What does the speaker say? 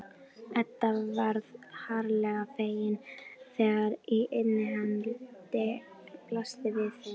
Edda varð harla fegin þegar innihaldið blasti við þeim.